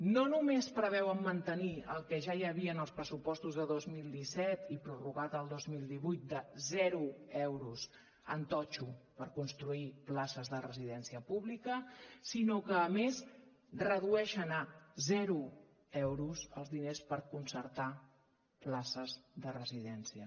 no només preveuen mantenir el que ja hi havia en els pressupostos de dos mil disset i prorrogat al dos mil divuit de zero euros en totxo per construir places de residència pública sinó que a més redueixen a zero euros els diners per concertar places de residència